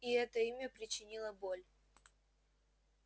и это имя причинило боль